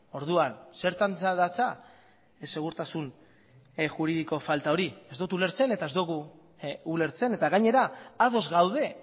orduan zertan datza segurtasun juridiko falta hori ez dut ulertzen eta ez dugu ulertzen eta gainera ados gaude